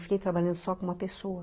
Não fiquei trabalhando só com uma pessoa